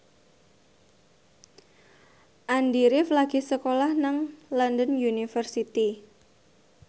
Andy rif lagi sekolah nang London University